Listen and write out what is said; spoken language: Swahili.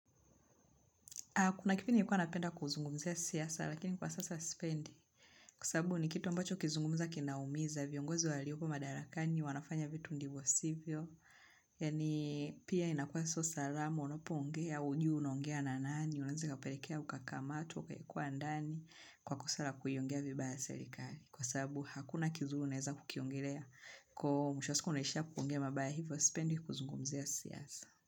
Kuna kipindi ikuwa napenda kuzungumzia siasa, lakini kwa sasa spendi. Kwa sababu ni kitu ambacho ukizungumza kinaumiza, viongozi walioko madarakani, wanafanya vitu ndivyosivyo. Yani pia inakua so salama, unapongea, ujui unaongea na nani, unaeza ikaperekea ukakamatwa, ukaekwa ndani, kwa kosa la kuiongea vibaya serikali. Kwa sababu hakuna kizuru unaeza kukiongelea, kwa mwisho wa siku unaishia kuongea mabaya hivyo, sipendi kuzungumzia siasa.